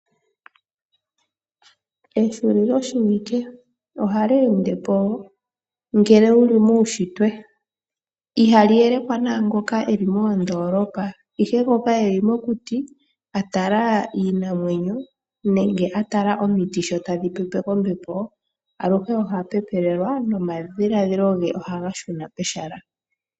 Ehulilo shiwike ohali endepo ngele wuli muushitwe ihali elekwa nangoka eli moondolopa, ihe ngoka eli mokuti atala iinamwenyo nenge atala omiiti sho tadhi pepwa kombepo aluhe oha pepelelwa nomadhiladhilo ge ohaga shuna pehala.